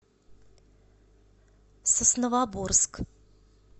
сосновоборск